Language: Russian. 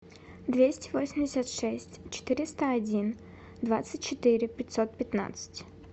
двести восемьдесят шесть четыреста один двадцать четыре пятьсот пятнадцать